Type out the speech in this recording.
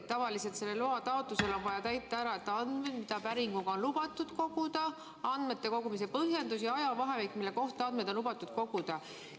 Tavaliselt selle loa taotlusel on vaja märkida ära andmed, mida päringuga on lubatud koguda, andmete kogumise põhjendus ja ajavahemik, mille kohta andmeid on lubatud koguda.